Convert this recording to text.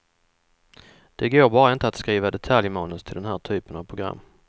Det går bara inte att skriva detaljmanus till den här typen av program.